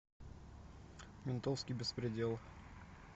ментовский беспредел